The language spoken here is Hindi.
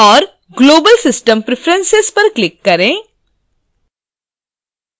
और global system preferences पर click करें